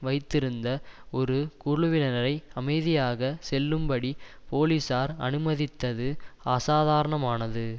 வைத்திருந்த ஒரு குழுவினரை அமைதியாக செல்லும்படி போலீசார் அனுமதித்தது அசாதாரணமானது